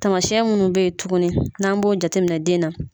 Taamasiyɛn minnu bɛ yen tuguni n'an b'o jateminɛ den na.